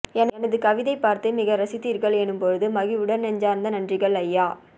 எனது கவிதை பார்த்து மிகரசித்தீர்கள் எனும்போது மகிழ்வுடன் நெஞ்சார்ந்த நன்றிகள் ஐயா